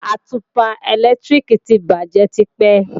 Àtùpà ẹ̀lẹ́tíríkì ti bàjé tipẹ́